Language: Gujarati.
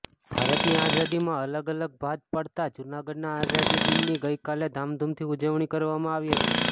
ભારતની આઝાદીમાં અલગ ભાત પાડતા જૂનાગઢના આઝાદી દિનની ગઈકાલે ધામધુમથી ઉજવણી કરવામાં આવી હતી